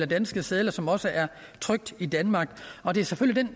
danske sedler som også er trykt i danmark og det er selvfølgelig